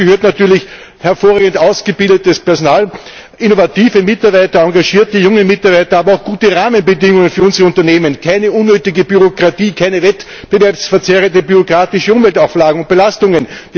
Dazu gehören natürlich hervorragend ausgebildetes Personal, innovative Mitarbeiter, engagierte junge Mitarbeiter, aber auch gute Rahmenbedingungen für unsere Unternehmen, keine unnötige Bürokratie, keine wettbewerbsverzerrenden bürokratischen Umweltauflagen und Belastungen.